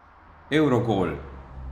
Evrogol!